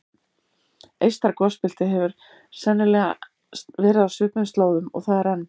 Eystra gosbeltið hefur sennilega verið á svipuðum slóðum og það er enn.